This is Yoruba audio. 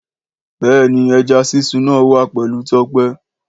Béèni ẹja sísun náà wà pẹlú Tọ́pẹ́